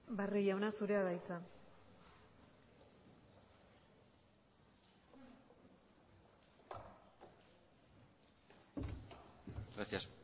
barrio jauna zurea da hitza gracias